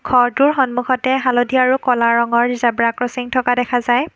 ঘৰটোৰ সন্মুখতে হালধীয়া আৰু ক'লা ৰঙৰ জেব্ৰা ক্ৰছিং থকা দেখা যায়।